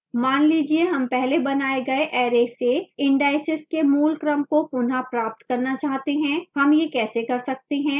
मान लीजिए हम पहले बनाए गए array से indices के मूल क्रम को पुनः प्राप्त करना चाहते हैं हम यह कैसे कर सकते हैं